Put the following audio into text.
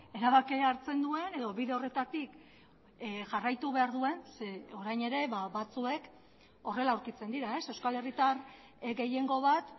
erabakia hartzen duen edo bide horretatik jarraitu behar duen ze orain ere batzuek horrela aurkitzen dira euskal herritar gehiengo bat